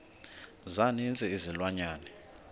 za ninzi izilwanyana